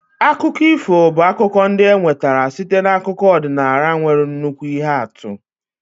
Akụkọ ifo bụ akụkọ ndị e nwetara site n'akụkọ ọdịnala nwere nnukwu ihe atụ.